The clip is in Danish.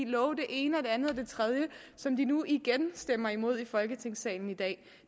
love det ene det andet og det tredje som de nu igen stemmer imod i folketingssalen i dag